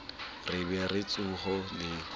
re be re tsohe le